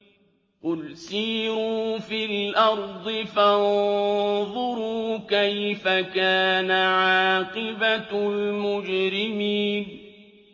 قُلْ سِيرُوا فِي الْأَرْضِ فَانظُرُوا كَيْفَ كَانَ عَاقِبَةُ الْمُجْرِمِينَ